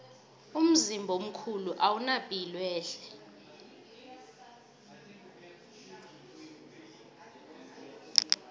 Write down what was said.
umzimba omkhulu owuna piloehle